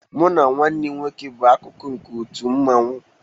Mụ na nwanne m nwoke bụ akụkụ nke otu mmanwu